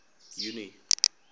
junie